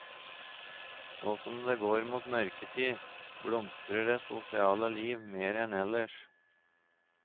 Nå som det går mot mørketid, blomstrer det sosiale liv mer enn ellers.